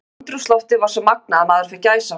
Andrúmsloftið var svo magnað að maður fékk gæsahúð.